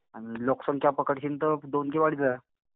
आणि लोकसंख्या पकडशील तर दोन किंवा अडीच हजार.